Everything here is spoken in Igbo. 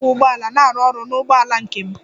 M na-akwọ ụgbọala na-arụ ọrụ n'ụgbọala nke m.